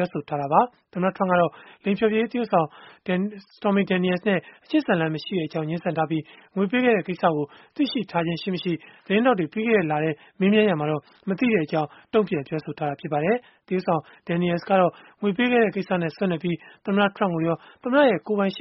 ောဆိုခဲ့တာပါ။ သမ္မတ Trump ကတော့ လိင်ဖျော်ဖြေရေး သရုပ်ဆောင် Stormy Daniels နဲ့ အချစ်ဇာတ်လမ်း မရှိခဲ့ကြောင်း ငြင်းဆန်ထားသလို၊ ငွေပေးခဲ့တဲ့ ကိစ္စကို သိရှိထားခြင်းရှိ-မရှိ သတင်းထောက်တွေ ပြီးခဲ့တဲ့လထဲ မေးမြန်းရာမှာတော့ မသိကြောင်း တုံ့ပြန်ပြောဆိုထားပါတယ်။ သရုပ်ဆောင် Daniels ကတော့ ငွေပေးခဲ့တဲ့ ကိစ္စနဲ့ ဆက်နွယ်ပြီး သမ္မတ Trump ကိုရော သမ္မတရဲ့ ကိုယ်ပိုင်ရှ